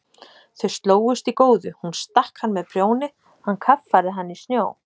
Þau slógust í góðu, hún stakk hann með prjóni, hann kaffærði hana í snjó.